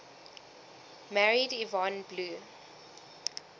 married yvonne blue